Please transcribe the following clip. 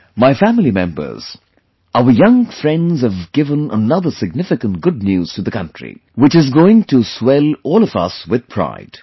My family members, our young friends have given another significant good news to the country, which is going to swell all of us with pride